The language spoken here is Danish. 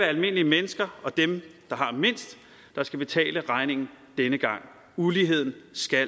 almindelige mennesker og dem der har mindst der skal betale regningen denne gang uligheden